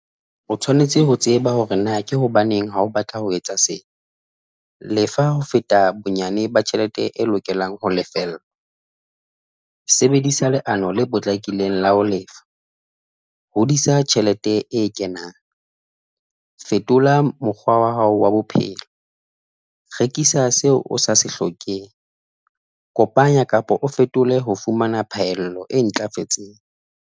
O tshwanetse ho tseba hore na ke hobaneng ha o batla ho etsa se, lefa ho feta bonyane ba tjhelete e lokelang ho lefella. Sebedisa leano le potlakileng la ho lefa, hodisa tjhelete e kenang, fetola mokgwa wa hao wa bophelo, rekisa seo o sa se hlokeng, kopanya kapa o fetole ho fumana phaello e ntlafetseng.